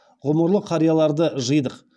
ғұмырлы қарияларды жидық